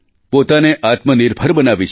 પોતાને આત્મનિર્ભર બનાવી છે